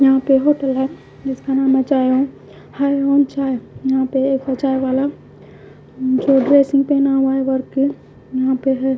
यहां पे होटल है जिसका नाम है चाय ओम हाय ओम चाय यहां पे एक चायवाला जो ड्रेसिंग पहना हुआ है वर्क यहां पे है।